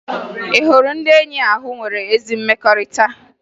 Ị hụrụ ndị enyi ahụ nwere ezi mmekọrịta?